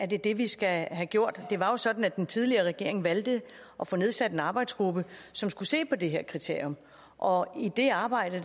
det det vi skal have gjort det var sådan at den tidligere regering valgte at få nedsat en arbejdsgruppe som skulle se på det her kriterium og i det arbejde